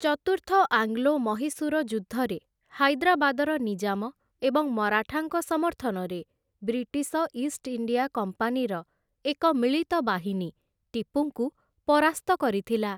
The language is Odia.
ଚତୁର୍ଥ ଆଙ୍ଗ୍ଲୋ ମହୀଶୂର ଯୁଦ୍ଧରେ, ହାଇଦ୍ରାବାଦର ନିଜାମ ଏବଂ ମରାଠାଙ୍କ ସମର୍ଥନରେ ବ୍ରିଟିଶ ଇଷ୍ଟଇଣ୍ଡିଆ କମ୍ପାନୀର ଏକ ମିଳିତ ବାହିନୀ ଟିପୁଙ୍କୁ ପରାସ୍ତ କରିଥିଲା ।